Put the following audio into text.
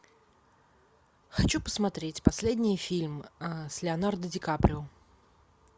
хочу посмотреть последний фильм с леонардо ди каприо